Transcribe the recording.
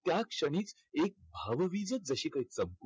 त्या क्षणीच एक